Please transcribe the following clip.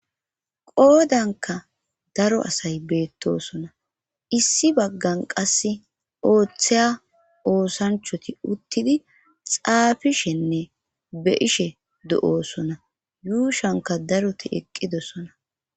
qoodanka daro asay beettosona issi baggan qasse ooththeya oosanchoti uttidi xaafishenne be ishe do7oosona yuushanka daroti eqqidosona